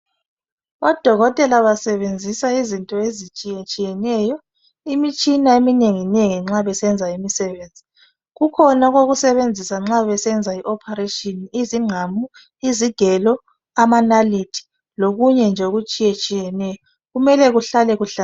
Odokotela basebenzisa izinto ezitshiyetshiyeneyo, imitshina eminenginengi nxa besenza imisebenzi. kukhona okokusebenzisa nxa besenza okokuthunga umuntu izingqamu, izigelo amanalithi lokunye nje okutshiyetshiyeneyo kumele kuhlale kuhlanzekile.